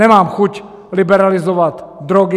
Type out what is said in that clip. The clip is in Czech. Nemám chuť liberalizovat drogy.